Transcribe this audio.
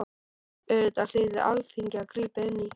Auðvitað hlyti Alþingi að grípa inn í.